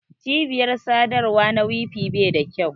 cibiyar sadarwa na wi-fi Bai da kyau.